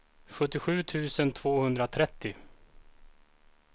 sjuttiosju tusen tvåhundratrettio